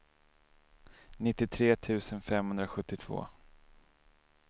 nittiotre tusen femhundrasjuttiotvå